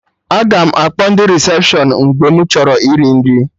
Aga m akpọ ndị resepshọn mgbe mụ chọrọ iri nri